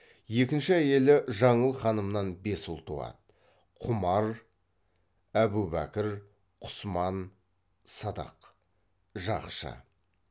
екінші әйелі жаңыл ханымнан бес ұл туады құмар әбубәкір құсман сыдық жақшы